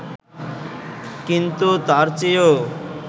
কিন্তু তার চেয়েও